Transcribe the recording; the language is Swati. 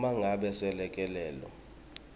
uma ngabe selekelelo